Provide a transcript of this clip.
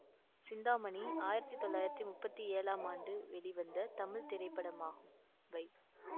சிந்தாமணி ஆயிரத்தி தொள்ளாயிரத்தி முப்பத்தி ஏழாம் ஆண்டு வெளிவந்த தமிழ் திரைப்படமாகும் வை